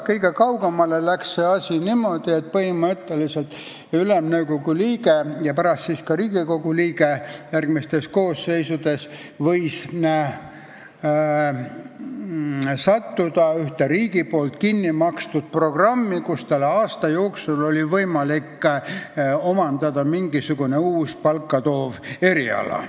Kõige kaugemale mindi sättega, et Ülemnõukogu liige ja pärast siis ka Riigikogu liige võis sattuda ühte riigi poolt kinnimakstud programmi, tänu millele tal oli võimalik aasta jooksul omandada mingisugune uus eriala.